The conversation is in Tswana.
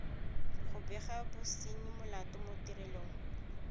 go bega bosenyimolato mo tirelong